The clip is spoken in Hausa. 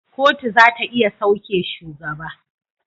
Kotu zata iya sauke shugaba